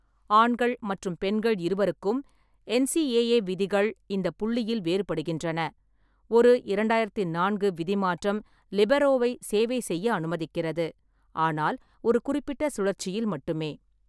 ஆண்கள் மற்றும் பெண்கள் இருவருக்கும் என்.சி.ஏ.ஏ விதிகள் இந்த புள்ளியில் வேறுபடுகின்றன; ஒரு இரண்டாயிரத்தி நான்கு விதி மாற்றம் லிபெரோவை சேவை செய்ய அனுமதிக்கிறது, ஆனால் ஒரு குறிப்பிட்ட சுழற்சியில் மட்டுமே .